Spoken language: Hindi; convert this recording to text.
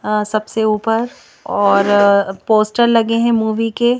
अ सबसे ऊपर और अ पोस्टर लगे हैं मूवी के।